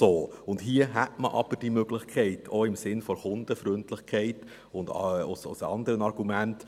Hier hätte man aber diese Möglichkeit, auch im Sinn der Kundenfreundlichkeit und aufgrund anderer Argumente.